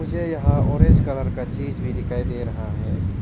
मुझे यहां orange colour का चीज भी दिखाई दे रहा है।